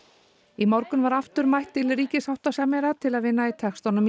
í morgun var aftur mætt til ríkissáttasemjara til að vinna í textanum í